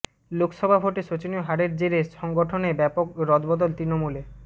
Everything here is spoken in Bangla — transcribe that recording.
লোকসভা ভোটে শোচনীয় হারের জেরে সংগঠনে ব্যাপক রদবদল তৃণমূলে